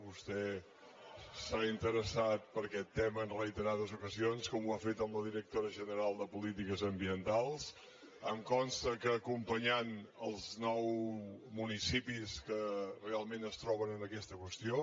vostè s’ha interessat per aquest tema en reiterades ocasions com ho ha fet amb la directora general de polítiques ambientals em consta que acompanyant els nou municipis que realment es troben en aquesta qüestió